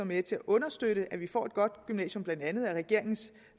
med til at understøtte at vi får et godt gymnasium blandt andet regeringens